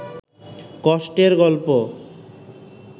কষ্টের গল্প